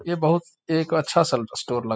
ये बहुत एक अच्छा सेल्फ स्टोर लग --